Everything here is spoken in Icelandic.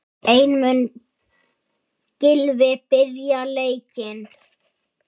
En mun Gylfi byrja leikinn?